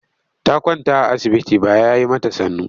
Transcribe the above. Ta kwanta a asibiti ba ya yi mata sannu.